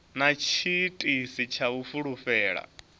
na tshiitisi tsha u fulufhela